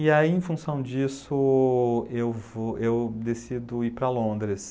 E aí, em função disso, eu vou eu decido ir para Londres.